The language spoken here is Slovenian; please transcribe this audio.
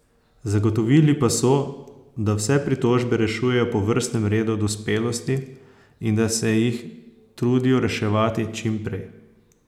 Zagotovili pa so, da vse pritožbe rešujejo po vrstnem redu dospelosti in da se jih trudijo reševati čim prej.